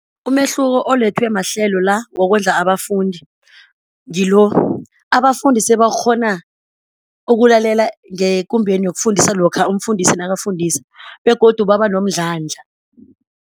Umehluko olethwe mahlelo la wokondla abafundi ngilo, abafundi sebakghona ukulalela ngekumbeni yokufundisa lokha umfundisi nakafundisa begodu baba nomdlandla.